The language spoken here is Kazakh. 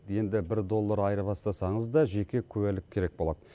енді бір доллар айырбастасаңыз да жеке куәлік керек болады